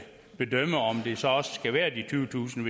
bedømme om det så også skal være de tyvetusind